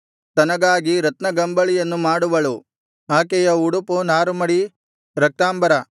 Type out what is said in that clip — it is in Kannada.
ತನಗಾಗಿ ರತ್ನಗಂಬಳಿಗಳನ್ನು ಮಾಡುವಳು ಆಕೆಯ ಉಡುಪು ನಾರುಮಡಿ ರಕ್ತಾಂಬರ